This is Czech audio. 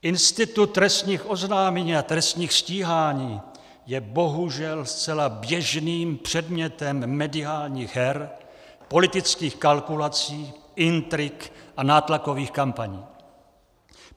Institut trestních oznámení a trestních stíhání je bohužel zcela běžným předmětem mediálních her, politických kalkulací, intrik a nátlakových kampaní.